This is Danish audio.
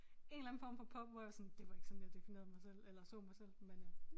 En eller anden form for pop hvor jeg var sådan det var ikke sådan jeg definerede mig selv eller så mig selv men øh